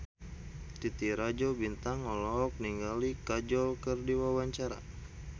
Titi Rajo Bintang olohok ningali Kajol keur diwawancara